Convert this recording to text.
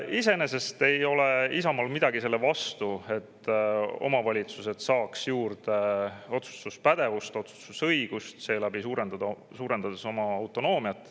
Iseenesest ei ole Isamaal midagi selle vastu, kui omavalitsused saavad juurde otsustuspädevust ja otsustusõigust, suurendades seeläbi oma autonoomiat.